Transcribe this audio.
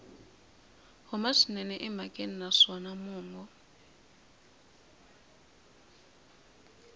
huma swinene emhakeni naswona mongo